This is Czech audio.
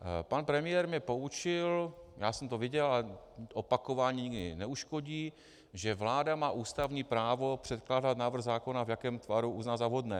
Pan premiér mě poučil, já jsem to věděl, ale opakování nikdy neuškodí, že vláda má ústavní právo předkládat návrh zákona, v jakém tvaru uzná za vhodné.